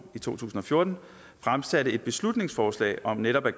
i to tusind og fjorten fremsatte et beslutningsforslag om netop at